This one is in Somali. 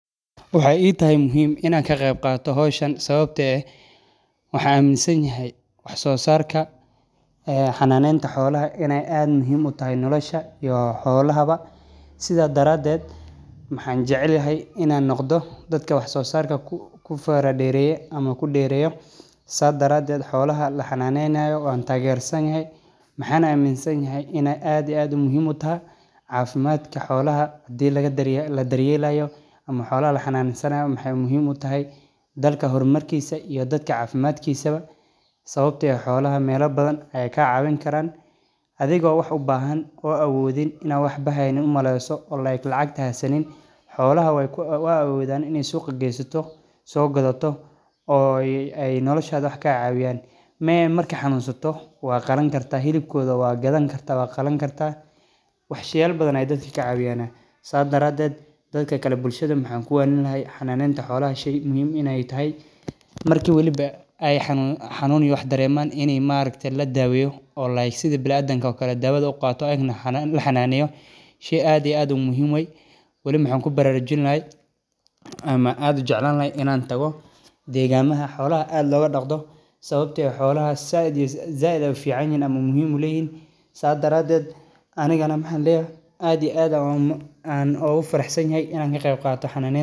Waxaay ii tahay muhiim inaan ka qeeb qaato sababta oo ah waxaan amin sanahay wax soo saarka xolaha inaay muhiim utahay bulshada sababta aan ujeclahay waxaay noqon karaa warshad muhiim utahay sababta oo ah waxeey ledahay faaidoyin badan waa qudaar taas xanuun waye jirkada wuu burburaya masoo kici kartid waxaas ayaa xiisa leh oo aad ku aragto halkan kasocdo waxa ila tahay inaay noqoto mid qalalan taas oo kadigeysa mid muhiim utahay in laga sameeyo hilibka xoolaha si wanagsan unasanaayo shaqadeeyda waxeey eheed waayo aragnimo xiisa cusub waxaa sido kale.